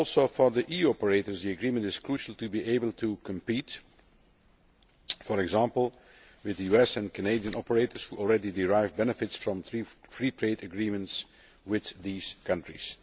For the EU operators too, the agreement is crucial to be able to compete, for example, with the US and Canadian operators who already derive benefits from Free Trade Agreements with these countries.